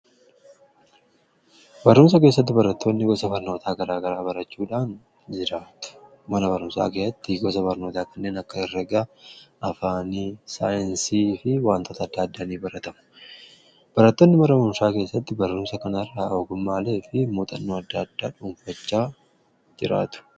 barrumsa keessatti barattoonni gosa farnootaa garaa gara barachuudhaan jiraatu gosa barnootaa kanneen akka herragaa ,afaanii ,saayensii fi wantoota addaaddaanii baratamu barattoonni mana barumsaa keessatti barrumsa kanaarraa ogummaalee fi muuxannoo addaaddaa dhuunfachaa jiraatu